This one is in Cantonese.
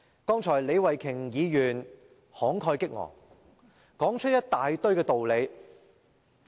剛才李慧琼議員慷慨激昂，說出一大堆道理。